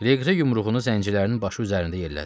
Legri yumruğunu zəncilərinin başı üzərində yerlədi.